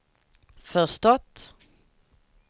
förstått